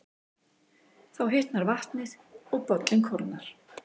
Þá hitnar vatnið og bollinn kólnar.